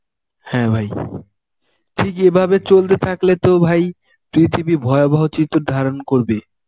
হ্যাঁ ভাই, ঠিক এভাবে চলতে থাকলে তো ভাই পৃথিবী ভয়াবহ চিত্র ধারন করবে.